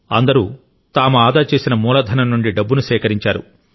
అందరూ తాము ఆదా చేసిన మూలధనం నుండి డబ్బును సేకరించారు